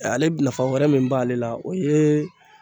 Ale nafa wɛrɛ min b'ale la o ye